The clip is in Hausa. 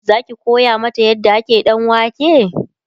Zaki koya mata yadda ake ɗanwake?